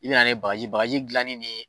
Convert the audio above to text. I bɛ na ni bagaji bagaji dilannen ne